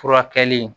Furakɛli